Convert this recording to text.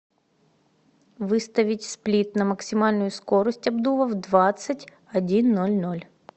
выставить сплит на максимальную скорость обдува в двадцать один ноль ноль